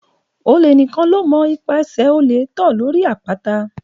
Òlé ni kàn lò mó ìpá sẹ òlé tọ lọri àpàtà